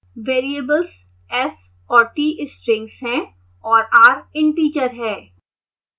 3 variables s और t strings हैं और r इंटिजर है